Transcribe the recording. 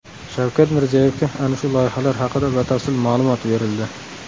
Shavkat Mirziyoyevga ana shu loyihalar haqida batafsil ma’lumot berildi.